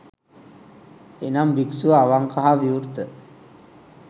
එනම් භික්‍ෂුව අවංක හා විවෘත